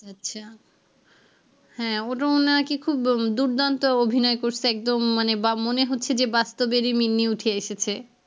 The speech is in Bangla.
আচ্ছা হ্যাঁ ওরও নাকি খুব দুর্দান্ত অভিনয় করছে একদম মানে বা মনে হচ্ছে যে বাস্তবেরই মিম্মি উঠে এসেছে।